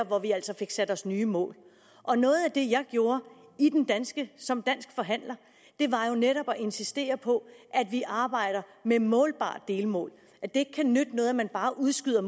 hvor vi altså fik sat os nye mål og noget af det jeg gjorde som dansk forhandler var jo netop at insistere på at vi arbejder med målbare delmål at det ikke kan nytte noget at man bare udskyder